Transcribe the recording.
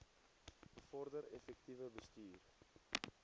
bevorder effektiewe bestuur